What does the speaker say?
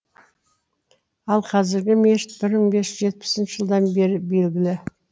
ал қазіргі мешіт бір мың бес жүз жетпісінші жылдан бері белгілі